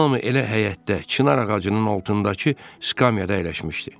Hamı elə həyətdə, çinar ağacının altındakı skamyada əyləşmişdi.